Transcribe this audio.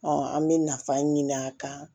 an bɛ nafa ɲini a kan